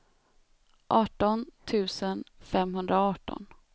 arton tusen femhundraarton